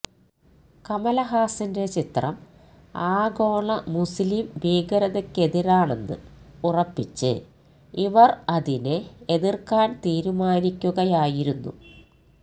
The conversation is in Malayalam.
കമലഹാസന്റെ ചിത്രം ആഗോള മുസ്ലീംഭീകരതക്കെതിരാണെന്ന് ഉറപ്പിച്ച് ഇവര് അതിനെ എതിര്ക്കാന് തീരുമാനിക്കുകയായിരുന്നു